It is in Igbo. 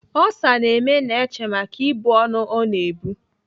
Olsa ga-eme Neche maka ibu ọnụ ọ na-ebu.